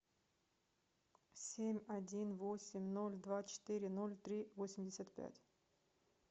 семь один восемь ноль два четыре ноль три восемьдесят пять